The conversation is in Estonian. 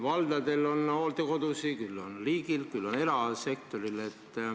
Valdadel on hooldekodusid, küll on neid riigil, küll erasektoril.